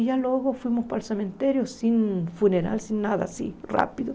E já logo fomos para o cemitério, sem funeral, sem nada, assim, rápido.